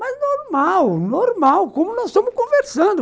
Mas normal, normal, como nós estamos conversando.